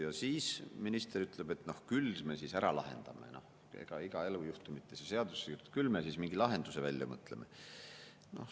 Ja minister ütleb, et küll me siis ära lahendame, ega iga elujuhtumit ei saa seadusesse kirjutada, küll me siis mingi lahenduse välja mõtleme.